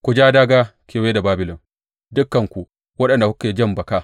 Ku ja dāgā kewaye da Babilon, dukanku waɗanda kuke jan baka.